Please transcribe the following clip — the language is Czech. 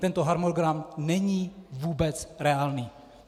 Tento harmonogram není vůbec reálný.